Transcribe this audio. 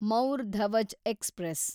Maur Dhwaj express